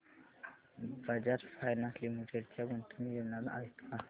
Bajaj finance limited च्या गुंतवणूक योजना आहेत का